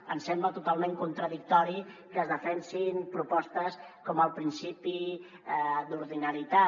ens sembla totalment contradictori que es defensin propostes com el principi d’ordina·litat